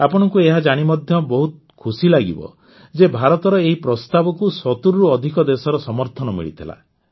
ଆପଣଙ୍କୁ ଏହା ଜାଣି ମଧ୍ୟ ବହୁତ ଖୁସି ଲାଗିବ ଯେ ଭାରତର ଏହି ପ୍ରସ୍ତାବକୁ ୭୦ରୁ ଅଧିକ ଦେଶର ସମର୍ଥନ ମିଳିଥିଲା